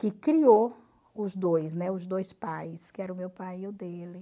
que criou os dois, né, os dois pais, que era o meu pai e o dele.